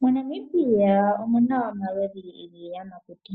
MoNamibia omuna omaludhi giiyamakuti.